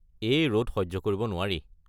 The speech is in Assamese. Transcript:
এই ৰ'দ সহ্য কৰিব নোৱাৰি।